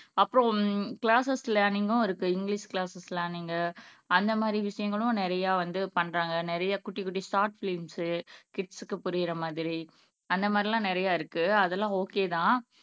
அப்புறம் கிளாஸஸ் லேர்னிங்கும் இருக்கு இங்கிலிஷ் கிளாஸஸ் லேர்னிங்கு அந்த மாதிரி விஷயங்களும் நிறைய வந்து பண்றாங்க நிறைய குட்டி குட்டி ஷார்ட் பிலிம்ஸு கிட்ஸ்க்கு புரியிற மாதிரி அந்த மாதிரி எல்லாம் நிறையா இருக்கு அதெல்லாம் ஓகே தான்